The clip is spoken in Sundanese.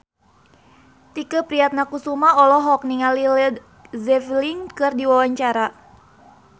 Tike Priatnakusuma olohok ningali Led Zeppelin keur diwawancara